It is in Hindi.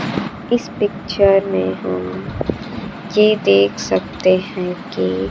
इस पिक्चर में हम ये देख सकते हैं कि--